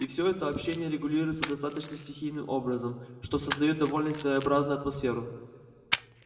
и всё это общение регулируется достаточно стихийным образом что создаёт довольно своеобразную атмосферу